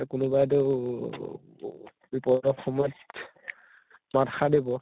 কোনোবাইতো ও বিপদৰ সময়ত মাতষাৰ দিব